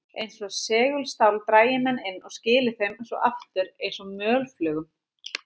Eins og segulstál drægi menn inn og skili þeim svo aftur eins og mölflugum.